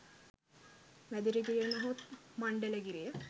මැදිරිගිරිය නොහොත් මණ්ඩලගිරිය